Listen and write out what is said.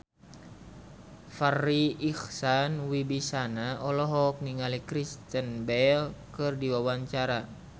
Farri Icksan Wibisana olohok ningali Kristen Bell keur diwawancara